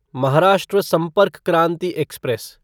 Maharashtra Sampark Kranti express